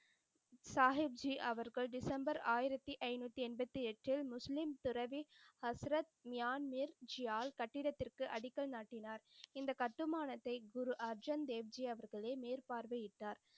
சாஹிப்ஜி அவர்கள் டிசம்பர் ஆயிரத்தி ஐந்நூத்தி எண்பத்து எட்டில் முஸ்லிம் துறவி அஸ்ரத் மியான்மீர் ஜியால் கட்டிடடத்திருக்கு அடிக்கல் நாட்டினார். இந்த கட்டுமானத்தை குரு அர்ஜென் தேவ் ஜி அவர்களே மேற்பார்வை இட்டார்.